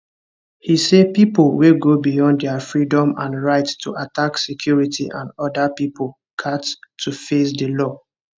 he say pipo wey go beyond dia freedom and right to attack security and oda pipo gat to face di law